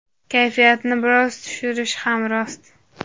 Kayfiyatni biroz tushirishi ham rost.